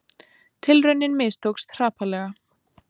Tilraunin mistókst hrapalega